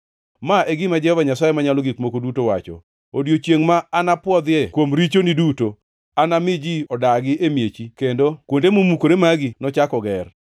“ ‘Ma e gima Jehova Nyasaye Manyalo Gik Moko Duto wacho: Odiechiengʼ ma anapwodhie kuom richoni duto, anami ji odagi e miechi kendo, kendo kuonde momukore magi nochak oger.